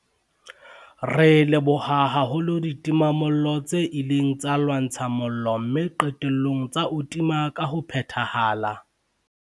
Re leboha haholo ditimamollo tse ileng tsa lwantsha mollo mme qetellong tsa o tima ka ho phethahala.